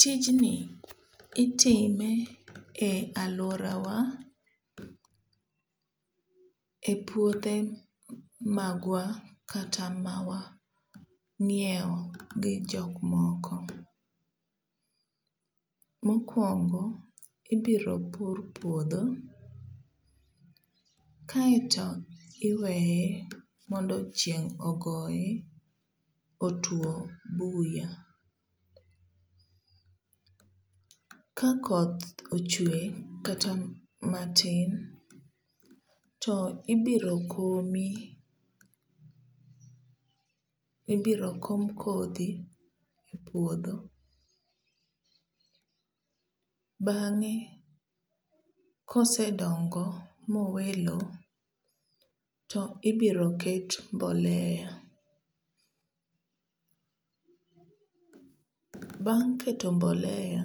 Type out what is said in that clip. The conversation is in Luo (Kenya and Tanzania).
Tijni itime e aluorawa e puothe magwa kata mawang'iewo gi jok moko. Mokuongo, ibiro pur puodho kaeto iweye mondo chieng' ogoye otwo buya. Kakoth ochwe kata matin to ibiro komi ibiro kom kodhi e puodho bang'e kosedongo mowe lowo to ibiro ket mbolea. Bang' keto mbolea